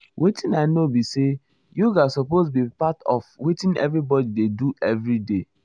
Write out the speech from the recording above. wetin i know be say yoga supose be part of wetin everybody dey do everyday.